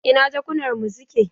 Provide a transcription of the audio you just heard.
Ina jakunar mu suke?